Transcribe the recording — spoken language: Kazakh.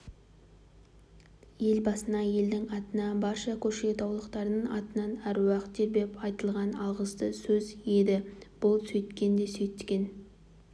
елбасына елдің атынан барша көкшетаулықтардың атынан әруақ тербеп айтылған алғысты сөз еді бұл сөйткен де сөйткен